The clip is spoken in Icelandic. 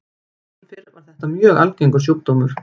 Áður fyrr var þetta mjög algengur sjúkdómur.